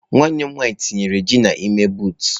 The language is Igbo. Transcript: Nwanne m nwanyi tinyere ji n'ime buutụ.